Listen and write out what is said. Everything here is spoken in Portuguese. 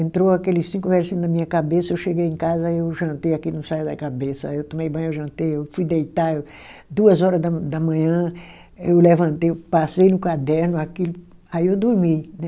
Entrou aqueles cinco versinho na minha cabeça, eu cheguei em casa, aí eu jantei aquilo não saía da Cabeça, aí eu tomei banho, eu jantei, eu fui deitar eu, duas horas da da manhã eu levantei, eu passei no caderno aquilo, aí eu dormi, né?